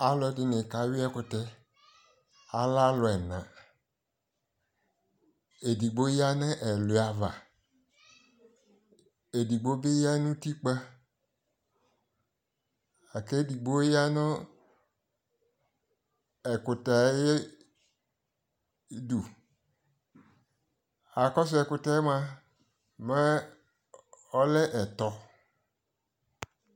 Alu ɛdini ka yʋi ɛkutɛAlɛ alu ɛnaƐdigboya nu ɛluya avaƐdigbo bi ya nu tikpaƐkɛ digbo ya nu ɛkutɛ ayi du Akɔsu ɛkutɛɛ mua, mɛ ɔlɛ ɛtɔ